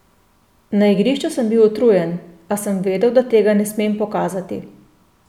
Na igrišču sem bil utrujen, a sem vedel, da tega ne smem pokazati.